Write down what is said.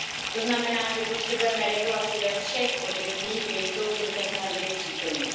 To znamená, že potřebujeme regulaci ve všech odvětvích, kde jsou v současné době přítomny.